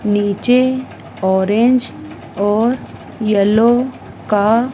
नीचे ऑरेंज और येलो का--